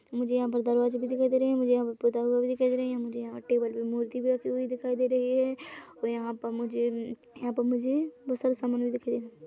मुझे यहाँ पर दरवाजे भी दिखाई दे रहे है मुझे यहाँ पे पुता हुआ भी दिखाई दे रहे है मुझे यहा टेबल पे मूर्ति भी रखी हुई दिखाई दे रही है और यहाँ पर मुझे यहाँ पर मुझे बोहोत सारा सामान भी दिखाई--